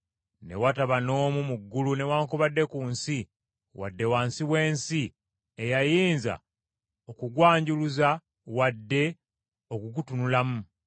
Ne wataba n’omu mu ggulu newaakubadde ku nsi, wadde wansi w’ensi, eyayinza okugwanjuluza wadde okugutunulamu.